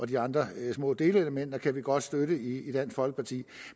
de andre små delelementer kan vi godt støtte i dansk folkeparti